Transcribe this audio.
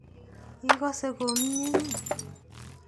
Ikose komnye ii?